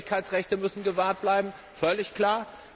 Die Persönlichkeitsrechte müssen gewahrt bleiben, völlig klar.